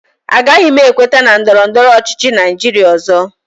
Agaghị m ekweta na ndọrọ ndọrọ ọchịchị Naijiria ọzọ